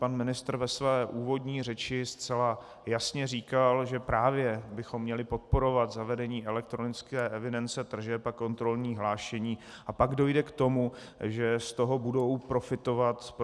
Pan ministr ve své úvodní řeči zcela jasně říkal, že právě bychom měli podporovat zavedení elektronické evidence tržeb a kontrolní hlášení, a pak dojde k tomu, že z toho budou profitovat i obce.